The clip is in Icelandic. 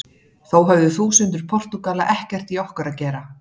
Þó höfðu þúsundir Portúgala ekkert í okkur að gera.